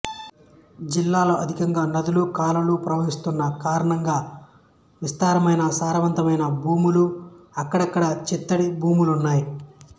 జిల్లాలో అధికంగా నదులు కాలువలు ప్రవహిస్తున్న కారణంగా విస్తారమైన సారవంతమైన భూములు అక్కడక్కడా చిత్తడి భూములు ఉన్నాయి